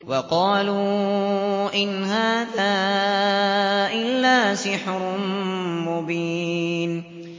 وَقَالُوا إِنْ هَٰذَا إِلَّا سِحْرٌ مُّبِينٌ